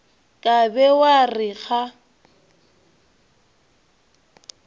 ka be wa re ga